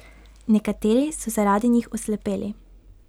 Nekateri so zaradi njih oslepeli.